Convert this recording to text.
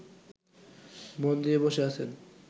মন দিয়ে বসে আছেন